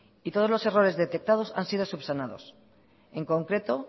y todos los errores detectados han sido subsanados en concreto